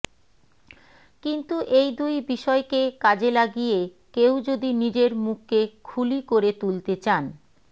কিন্তু এই দুই বিষয়কে কাজে লাগিয়ে কেউ যদি নিজের মুখকে খুলি করে তুলতে চান